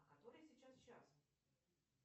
а который сейчас час